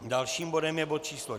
Dalším bodem je bod číslo